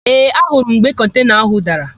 Ee, anurụ m mgbe kọntena ahụ dara.